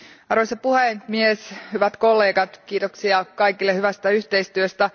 Arvoisa puhemies, hyvät kollegat, kiitoksia kaikille hyvästä yhteistyöstä.